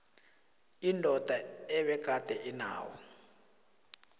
indoda ebegade inawo